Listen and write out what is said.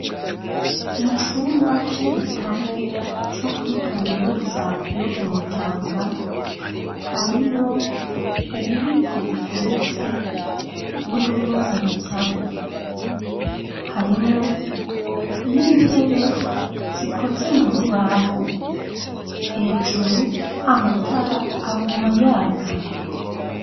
Mu cumba c'igitabo co kuri kaminuza yo kumutanga harimwo ububiko bugeretse burimwo ibitabu harimo n'intebe zikoze mu rubaho hejuru amatara aguma yaka.